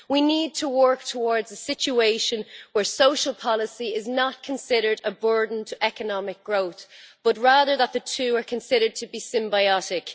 We need to work towards a situation where social policy is not considered a burden to economic growth, but rather that the two are considered to be symbiotic.